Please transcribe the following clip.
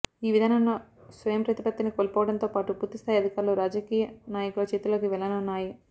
ఈ విధానంలో స్వయంప్రతిపత్తిని కోల్పోవడంతో పాటు పూర్తిస్థాయి అధికారాలు రాజకీయ నాయకుల చేతిలోకి వెళ్లనున్నాయి